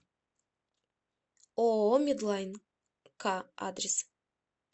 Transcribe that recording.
ооо медлайн к адрес